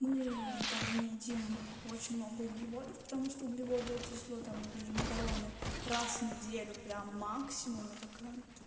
мы там не едим очень много углеводов потому что углеводы это зло там например макароны раз в неделю прям максимум я такая